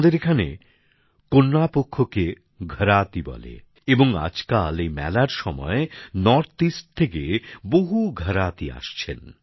আমাদের এখানে কন্যা পক্ষকে ঘরাতি বলে এবং আজকাল এই মেলার সময় উত্তরপূর্ব থেকে বহু ঘরাতি আসছেন